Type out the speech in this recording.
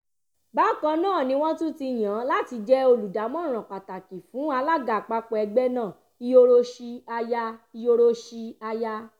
bákan náà ni wọ́n tún yàn án láti jẹ́ olùdámọ̀ràn pàtàkì fún alága àpapọ̀ ẹgbẹ́ náà iyoroshi aya iyoroshi aya